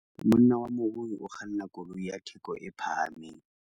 monna wa morui o kganna koloi ya theko e phahameng